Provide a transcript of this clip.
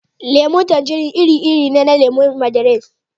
Lemun tanjirin iri-iri ne na lemu na Mandarin